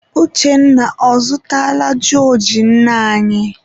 Uchenna, ọ zụtala jọọjị nne anyị?